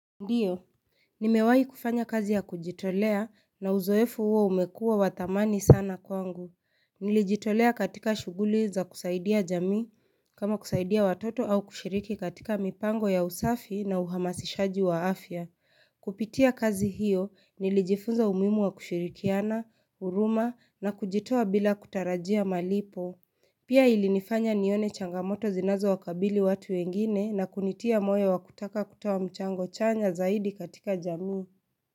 Ndiyo, nimewahi kufanya kazi ya kujitolea na uzoefu huo umekuwa wa dhamani sana kwangu. Nilijitolea katika shughuli za kusaidia jamii kama kusaidia watoto au kushiriki katika mipango ya usafi na uhamasishaji wa afya. Kupitia kazi hiyo nilijifunza umuhimu wa kushirikiana, huruma, na kujitoa bila kutarajia malipo. Pia ilinifanya nione changamoto zinazowakabili watu wengine na kunitia moyo wa kutaka kutoa mchango chanya zaidi katika jamii.